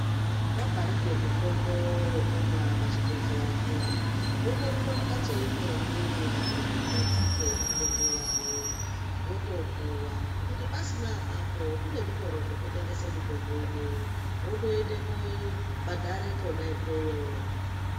Wabharirwe mutombo wekumwa pazvibhedhleya zviya, wotorumbe kumbatso imweni yavanogadzike mitombo yavo, wotopuwa. Kuti pasina apapo kune zvitoro zvototengese mitombo ineyi, wotoende koobhadhare kwona ikweyo.